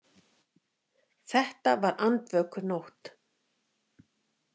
Þetta var andvökunótt.